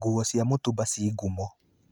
Nguo cia mũtumba ci ngumo.